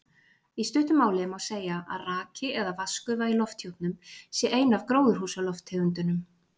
Í stuttu máli má segja að raki eða vatnsgufa í lofthjúpnum sé ein af gróðurhúsalofttegundunum.